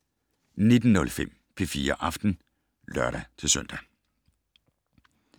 19:05: P4 Aften (lør-søn)